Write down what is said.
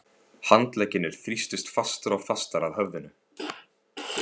Handleggirnir þrýstust fastar og fastar að höfðinu.